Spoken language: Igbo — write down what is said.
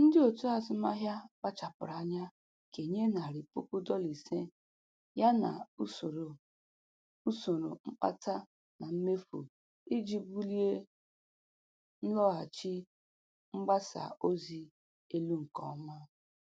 Ndị otu azụmaahịa kpachapụrụ anya kenye narị pụkụ dọla ise ya na usoro usoro mkpata na mmefu iji bulie nlọghachi mgbasa ozi elu nke ọma.